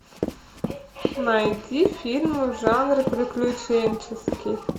найди фильмы в жанре приключенческий